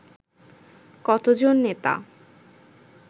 কতজন নেতা